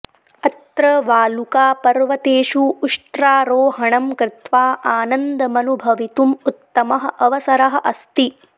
अत्र वालुकापर्वतेषु उष्ट्रारोहणं कृत्वा आनन्दमनुभवितुम् उत्तमः अवसरः अस्ति